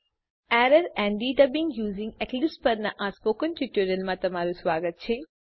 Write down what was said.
errors and debugging using Eclipse પરનાં ટ્યુટોરીયલમાં સ્વાગત છે